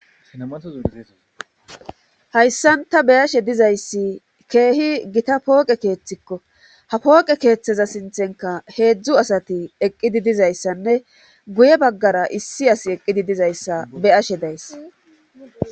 hayssan ta beyashe dizayssi keehi gita pooqe keeththikko ha pooqe keeththeza sinthenka heedzdzu asati eqqidi dizayssanne guye baggara issi as eqqidi dizayssa beyashe days